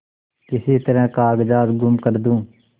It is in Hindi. किसी तरह कागजात गुम कर दूँ